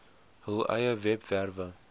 hul eie webwerwe